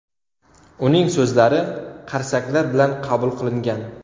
Uning so‘zlari qarsaklar bilan qabul qilingan.